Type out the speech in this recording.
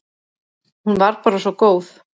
Hún var bara svo góð.